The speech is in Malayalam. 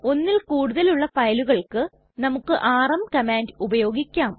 ഒന്നിൽ കൂടുതലുള്ള ഫയലുകള്ക്ക് നമുക്ക് ആർഎം കമാൻഡ് ഉപയോഗിക്കാം